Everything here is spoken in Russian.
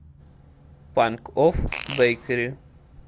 панкофф бэйкери